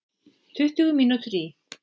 Tuttugu mínútur í